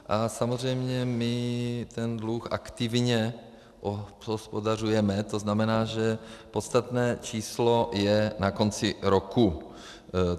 A samozřejmě my ten dluh aktivně obhospodařujeme, to znamená, že podstatné číslo je na konci roku.